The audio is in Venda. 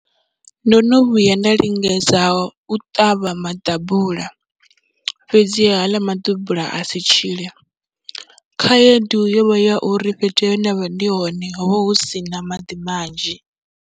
Ndo no vhuya nda lingedza u ṱavha maḓabula fhedzi haaḽa maḓabula a si tshile, khaedu yo vha ya uri fhethu he nda vha ndi hone ho vha hu si na maḓi manzhi.